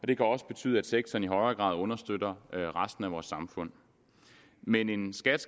det kan også betyde at sektoren i højere grad understøtter resten af vores samfund men en skat